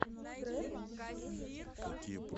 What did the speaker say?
трэп сити